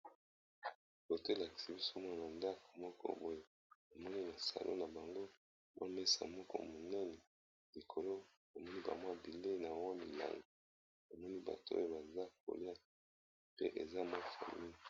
Bote lakisi biso mwa na ndako moko boye, namoni na salon na bango bamesa moko muneni likolo namoni ba mwa bilei nabango ya milai, namomi bato oyo baza kolia pe eza mwa famile.